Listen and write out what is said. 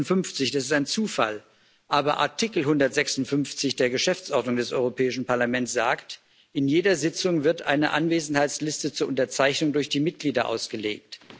156. Das ist ein Zufall, aber Artikel 156 der Geschäftsordnung des Europäischen Parlaments sagt In jeder Sitzung wird eine Anwesenheitsliste zur Unterzeichnung durch die Mitglieder ausgelegt.